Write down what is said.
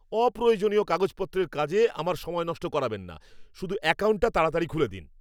অপ্রয়োজনীয় কাগজপত্রের কাজে আমার সময় নষ্ট করাবেন না। শুধু অ্যাকাউন্টটা তাড়াতাড়ি খুলে দিন!